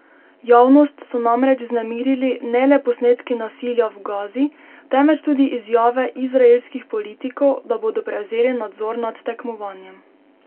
Javnost so namreč vznemirili ne le posnetki nasilja v Gazi, temveč tudi izjave izraelskih politikov, da bodo prevzeli nadzor nad tekmovanjem.